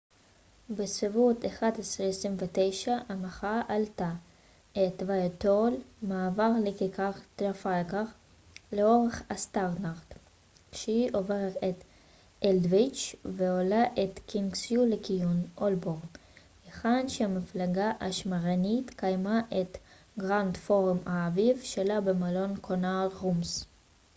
בסביבות 11:29 המחאה עלתה את ווייטהול מעבר לכיכר טרפלגר לאורך הסטרנד כשהיא עוברת את אלדוויץ' ועולה את קינגסווי לכיוון הולבורן היכן שהמפלגה השמרנית קיימה את פורום האביב שלה במלון grand connaught rooms